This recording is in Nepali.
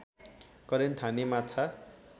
करेन्ट हान्ने माछा